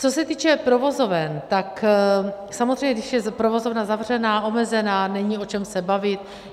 Co se týče provozoven, tak samozřejmě, když je provozovna zavřená, omezená, není o čem se bavit.